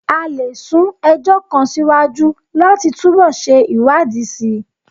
A lè sún ẹjọ́ kan síwájú láti túbọ̀ ṣe ìwádìí síi